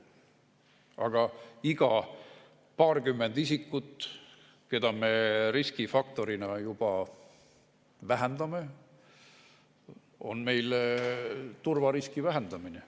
Aga iga paarkümmend isikut, mille võrra me riskifaktorit vähendame, on meie turvariski vähendamine.